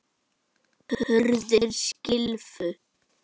Hurðir skylfu.